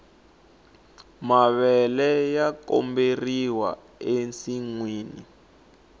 mavele ya goberiwa ensinwini